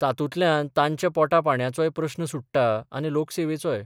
तातूंतल्यान तांच्या पोटा पाणयाचोय प्रस्न सुट्टा आनी लोकसेवेचोय.